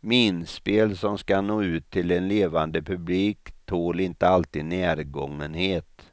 minspel som ska nå ut till en levande publik tål inte alltid närgångenhet.